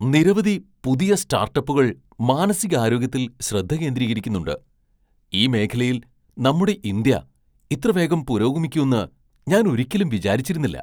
നിരവധി പുതിയ സ്റ്റാർട്ടപ്പുകൾ മാനസികാരോഗ്യത്തിൽ ശ്രദ്ധ കേന്ദ്രീകരിക്കുന്നുണ്ട് ! ഈ മേഖലയിൽ നമ്മുടെ ഇന്ത്യ ഇത്ര വേഗം പുരോഗമിക്കുന്ന് ഞാൻ ഒരിക്കലും വിചാരിച്ചതിരുന്നില്ല.